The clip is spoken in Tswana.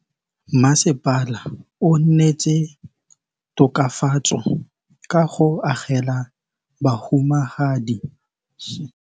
Mmasepala o neetse tokafatsô ka go agela bahumanegi dintlo.